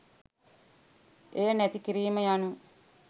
එය නැති කිරීම යනු